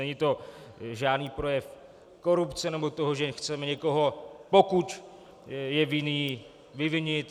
Není to žádný projev korupce nebo toho, že chceme někoho, pokud je vinný, vyvinit.